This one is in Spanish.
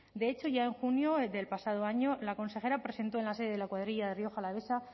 de hecho ya en junio del pasado año la consejera presentó en la sede de la cuadrilla de rioja alavesa